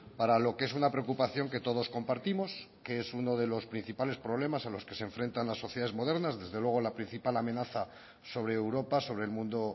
para lo que es una preocupación que todos compartimos que es uno de los principales problemas a los que se enfrentan las sociedades modernas desde luego la principal amenaza sobre europa sobre el mundo